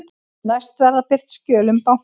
Næst verða birt skjöl um banka